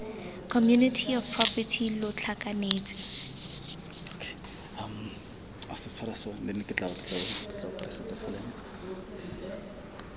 community of property lo tlhakanetse